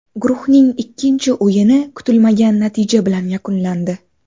Guruhning ikkinchi o‘yini kutilmagan natija bilan yakunlandi.